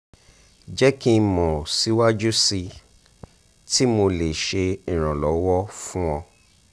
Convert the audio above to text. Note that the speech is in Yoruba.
jẹ ki o mọ siwaju sii ti mo le ṣe iranlọwọ fun ọ